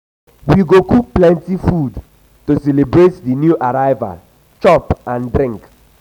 we go cook plenty food to celebrate di new arrival chop and drink.